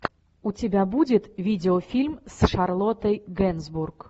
у тебя будет видеофильм с шарлоттой генсбург